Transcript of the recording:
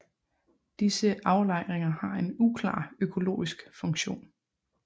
Disse aflejringer har en uklar økologisk funktion